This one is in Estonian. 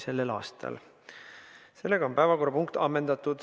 Sellega on see päevakorrapunkt ammendatud.